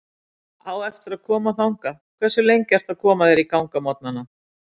Á eftir að koma þangað Hversu lengi ertu að koma þér í gang á morgnanna?